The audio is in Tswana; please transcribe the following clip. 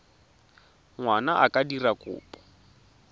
ngwana a ka dira kopo